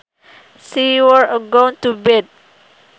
She wore a gown to bed